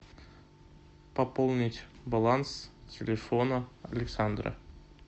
пополнить баланс телефона александра